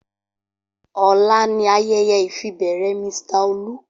Ola ni ayeye ifibere Mr Olu.